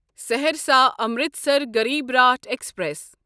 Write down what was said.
Saharsa Amritsar Garib Rath express